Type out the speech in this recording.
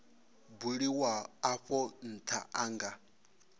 buliwaho afho ntha a nga